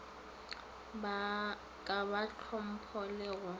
ka ba hlompho le go